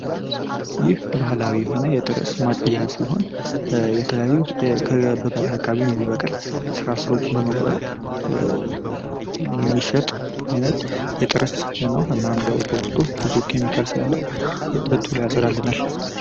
ይህ ባህላዊ የሆነ የትርስ ማጽጃ ሲሆን የተለያዩ በበረሃ አካባቢ የሚበቅል ስራስሮችን በመቁረጥ የሚሸጥ አይነት ጥርስ በውስጡ ንጹህ ስለሆነ ቶሎ ያጸዳልናል።